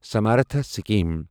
Samartha scheme